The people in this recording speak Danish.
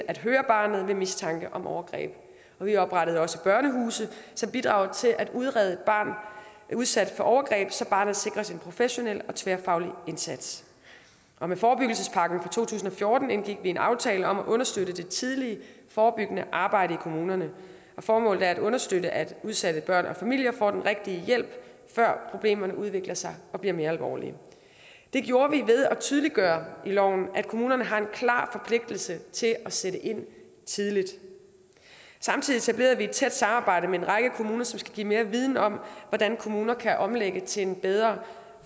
at høre barnet ved mistanke om overgreb vi oprettede også børnehuse som bidrager til at udrede et barn udsat for overgreb så barnet sikres en professionel og tværfaglig indsats med forebyggelsespakken fra to tusind og fjorten indgik vi en aftale om at understøtte det tidlige forebyggende arbejde i kommunerne formålet er at understøtte at udsatte børn og familier får den rigtige hjælp før problemerne udvikler sig og bliver mere alvorlige det gjorde vi ved at tydeliggøre i loven at kommunerne har en klar forpligtelse til at sætte ind tidligt samtidig etablerede vi et tæt samarbejde med en række kommuner som skal give mere viden om hvordan kommunerne kan omlægge til en bedre